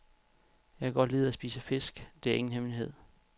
Jeg kan godt lide at spise fisk, det er ingen hemmelighed.